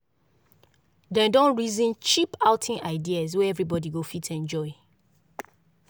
dem don reason cheap outing ideas wey everybody go fit enjoy.